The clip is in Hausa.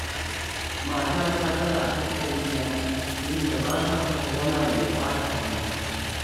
Matata tana tattalina, inda ba ta son wani abu ya ɓata min.